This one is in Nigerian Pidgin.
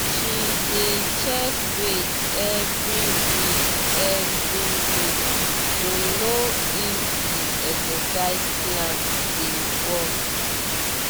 she dey check weight every week every week to know if the exercise plan dey work